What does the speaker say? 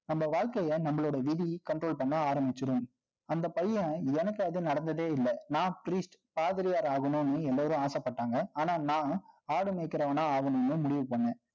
நம்ம வாழ்க்கைய, நம்மளோட விதி, control பண்ண ஆரம்பிச்சிடும் அந்த பையன், எனக்கு அது நடந்ததே இல்லை. நான் priest பாதிரியார் ஆகணும்ன்னு, எல்லாரும் ஆசைப்பட்டாங்க. ஆனா, நான் ஆடு மேய்க்கிறவனா ஆகணும்ன்னு, முடிவு பண்ணேன்